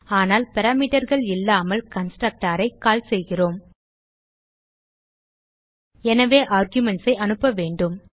ஆனால் parameterகள் இல்லாமல் கன்ஸ்ட்ரக்டர் ஐ கால் செய்கிறோம் எனவே ஆர்குமென்ட்ஸ் ஐ அனுப்ப வேண்டும்